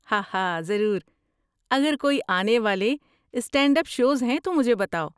ہاہا ضرور! اگر کوئی آنے والے اسٹینڈ اپ شوز ہیں تو مجھے بتاؤ۔